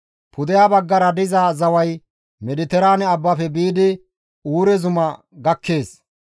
« ‹Pudeha baggara diza zaway Mediteraane abbafe biidi Uure zuma gakkees.